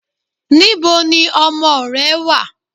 Níboni ọmọ ò rẹ̀ wà?